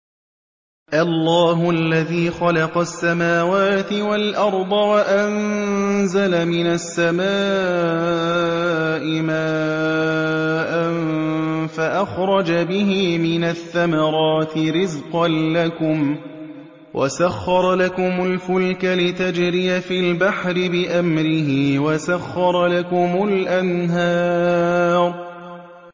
اللَّهُ الَّذِي خَلَقَ السَّمَاوَاتِ وَالْأَرْضَ وَأَنزَلَ مِنَ السَّمَاءِ مَاءً فَأَخْرَجَ بِهِ مِنَ الثَّمَرَاتِ رِزْقًا لَّكُمْ ۖ وَسَخَّرَ لَكُمُ الْفُلْكَ لِتَجْرِيَ فِي الْبَحْرِ بِأَمْرِهِ ۖ وَسَخَّرَ لَكُمُ الْأَنْهَارَ